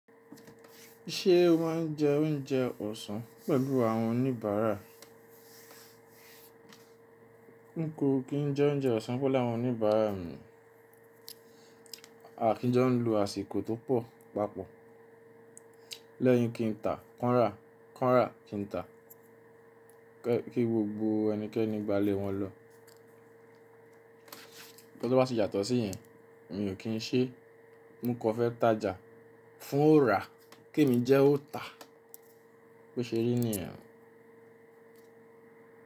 Ṣé o máa ń jẹ oúnjẹ ọ̀sán pẹ̀lú àwọn oníbàárà? Nko kí n jẹ oúnjẹ ọ̀sán pẹ̀lú àwọn oníbàárà mi. Àkínjọ́ ń lo àsìkò tó pọ̀ papọ̀. Lẹ́yìn kí n tà, kàn rà, kàn rà, kí n tà. Kí gbogbo ẹnikẹ́ni gba lé wọn lọ. Tí ọ bá ti yàtọ̀ sí yẹn, mi ò kí n ṣe. Mú kọ fẹ́ tája fún ó rà, kí èmi jẹ́ ó tà. Bó ṣe rí ni yẹ́n.